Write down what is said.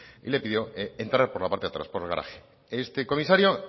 le pidió entrar por la parte de atrás por el garaje este comisario